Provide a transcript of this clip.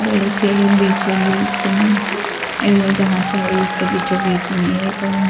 मिल के बीचो बीच में अरे अरे जहां चरी है उसके बीचो बीच में एक--